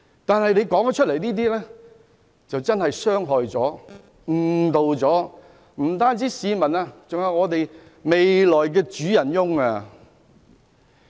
但是，他所說的話傷害、誤導了市民，包括香港未來的主人翁。